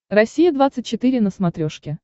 россия двадцать четыре на смотрешке